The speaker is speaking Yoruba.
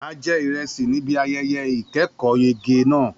A jẹ ìrẹsì níbi ayẹyẹ ìkẹ́kọ̀ọ́yege náà.